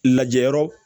Lajɛyɔrɔ